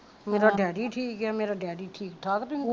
ਮੇਰਾ ਡੈਡੀ ਠੀਕ ਆ ਮੇਰੀ ਡੈਡੀ ਠੀਕ ਠਾਕ ਤੁਹੀ ਕਿਉ ਰੋਂਦਿਆਂ